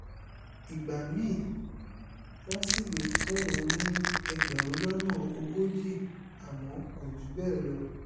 ìgbà mi-ín wọn sì lè fún òun ní ẹgbẹ̀rún lọ́nà ogójì àmọ́ kò jù bẹ́ẹ̀ lọ